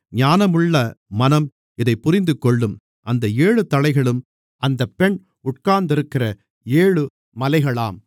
ஞானமுள்ள மனம் இதைப் புரிந்துகொள்ளும் அந்த ஏழு தலைகளும் அந்தப் பெண் உட்கார்ந்திருக்கிற ஏழு மலைகளாம்